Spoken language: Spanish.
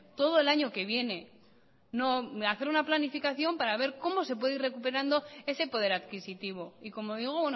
todo el año que viene no hacer una planificación para ver como se puede ir recuperando ese poder adquisitivo y como digo